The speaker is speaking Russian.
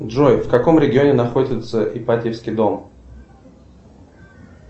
джой в каком регионе находится ипатьевский дом